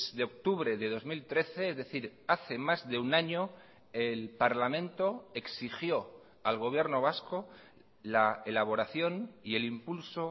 de octubre de dos mil trece es decir hace más de un año el parlamento exigió al gobierno vasco la elaboración y el impulso